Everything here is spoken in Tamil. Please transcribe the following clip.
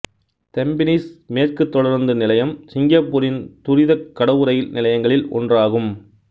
தெம்பினிஸ் மேற்கு தொடருந்து நிலையம் சிங்கப்பூரின் துரிதக் கடவு ரயில் நிலையங்களில் ஒன்றாகும்